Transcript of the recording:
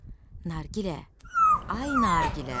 Nargilə, ay Nargilə!